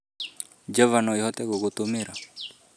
Java no ĩhote gũgũtũmĩra